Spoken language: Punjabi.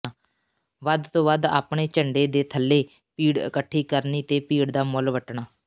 ਵੱਧ ਤੋਂ ਵੱਧ ਆਪਣੇ ਝੰਡੇ ਦੇ ਥੱਲੇ ਭੀੜ ਇੱਕਠੀ ਕਰਨੀ ਤੇ ਭੀੜ ਦਾ ਮੁੱਲ ਵੱਟਣਾ